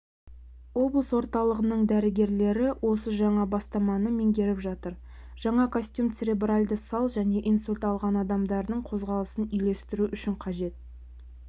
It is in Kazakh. облыс орталығының дәрігерлері осы жаңа бастаманы меңгеріп жатыр жаңа костюм церебральды сал және инсульт алған адамдардың қозғалысын үйлестіру үшін қажет